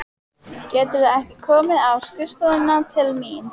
Geturðu ekki komið á skrifstofuna til mín?